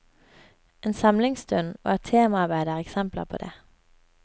En samlingsstund og et temaarbeid er eksempler på det.